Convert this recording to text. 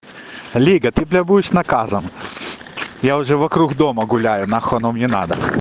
лега ты бля будешь наказан я уже вокруг дома гуляю нахуй оно мне надо